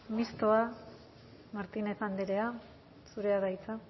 mistoa martínez andrea zurea da hitza